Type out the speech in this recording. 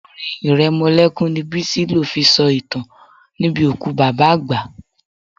Orin iremolekun ni Bisi lo fi sọ ìtàn níbi òkú bàbá àgbà.